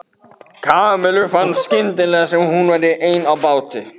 Kamillu fannst skyndilega sem hún væri ein á báti.